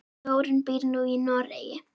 Þórunn býr nú í Noregi.